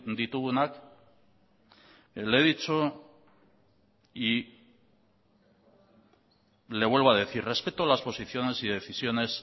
ditugunak le he dicho y le vuelvo a decir respeto las posiciones y decisiones